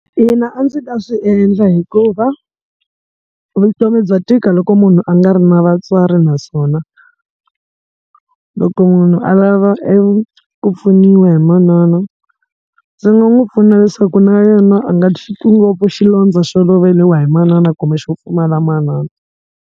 Ina, a ndzi ta swi endla hikuva vutomi bya tika loko munhu a nga ri na vatswari naswona, loko munhu a lava eku pfuniwa hi manana, ndzi nga n'wi pfuna leswaku na yena a nga xi twi ngopfu xilondza xo loveriwa hi manana kumbe xo pfumala manana.